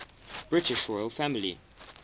british royal family